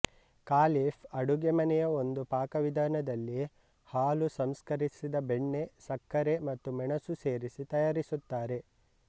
caliph ಅಡುಗೆಮನೆಯ ಒಂದು ಪಾಕವಿಧಾನದಲ್ಲಿ ಹಾಲು ಸಂಸ್ಕರಿಸಿದ ಬೆಣ್ಣೆ ಸಕ್ಕರೆ ಮತ್ತು ಮೆಣಸು ಸೇರಿಸಿ ತಯಾರಿಸುತ್ತಾರೆ